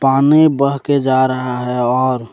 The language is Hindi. पानी बह के जा रहा है और--